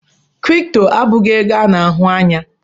Kịrịpụtọ abụghi ego ana-ahụ ya